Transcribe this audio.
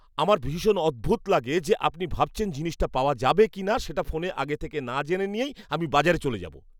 আমার ভীষণ অদ্ভুত লাগে যে আপনি ভাবছেন জিনিসটা পাওয়া যাবে কিনা সেটা ফোনে আগে থেকে না জেনে নিয়েই আমি বাজারে চলে যাব।